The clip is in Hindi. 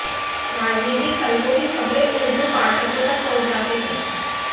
राजनीतिक हलको की खबरें उर्दू पाठकों तक पहुंचाते थे